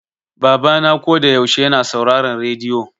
Baba na ko da yaushe yana sauraron rediyo.